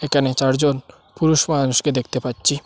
এখানে চারজন পুরুষ মানুষকে দেখতে পাচ্চি।